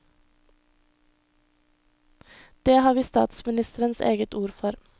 Det har vi statsministerens eget ord for.